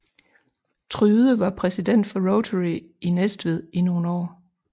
Tryde var præsident for Rotary i Næstved i nogle år